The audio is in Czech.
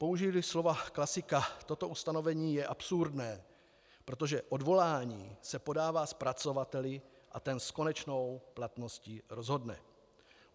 Použiji-li slova klasika, toto ustanovení je absurdné, protože odvolání se podává zpracovateli a ten s konečnou platností rozhodne.